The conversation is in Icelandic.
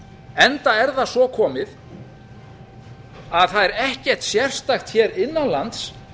enda er það svo komið að það er ekkert sérstakt hér innan lands